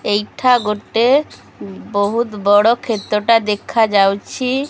ଏଇଠା ଗୋଟେ ବହୁତ୍ ବଡ଼ କ୍ଷେତ ଟା ଦେଖାଯାଉଛି।